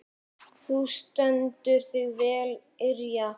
Þú stendur þig vel, Irja!